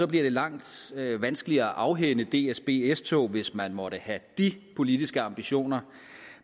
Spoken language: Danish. bliver langt vanskeligere at afhænde dsb s tog hvis man måtte have de politiske ambitioner